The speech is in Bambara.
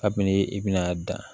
Kabini i bɛna dan